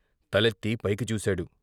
తలెత్తి పైకి చూశాడు.